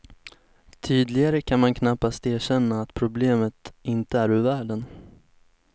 Tydligare kan man knappast erkänna att problemet inte är ur världen.